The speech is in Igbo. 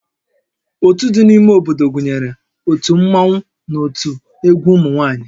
Ótú dị n'ime obodo gụnyere ótù Mmanwu na ótú egwu ụmụ nwaanyị